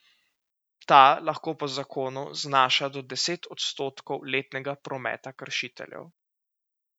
Ta lahko po zakonu znaša do deset odstotkov letnega prometa kršiteljev.